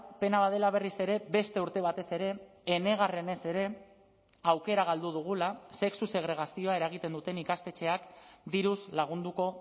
pena bat dela berriz ere beste urte batez ere enegarrenez ere aukera galdu dugula sexu segregazioa eragiten duten ikastetxeak diruz lagunduko